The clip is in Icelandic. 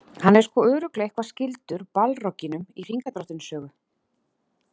Hann er sko örugglega eitthvað skyldur Balrogginum í Hringadróttinssögu.